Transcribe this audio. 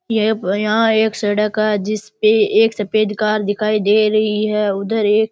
यह यहाँ एक सड़क है जिसपे एक सफ़ेद कार दिखाई दे रही है उधर एक --